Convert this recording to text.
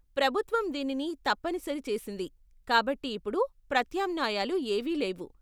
ప్రభుత్వం దీనిని తప్పనిసరి చేసింది కాబట్టి ఇప్పుడు ప్రత్యామ్నాయాలు ఏవీ లేవు.